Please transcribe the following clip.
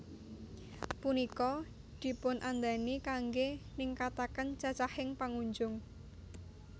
Punika dipunadani kanggé ningkataken cacahing pangunjung